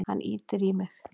Hann ýtir í mig.